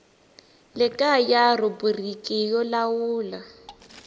le kaya rhubiriki yo lawula